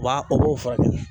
Wa o b'o furakɛ